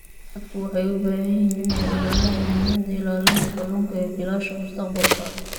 Dadku waxay u baahan yihiin inay ogaadaan muhiimada ilaalinta kalluunka ee jiilasha mustaqbalka.